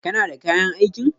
Kana da kayan aikin?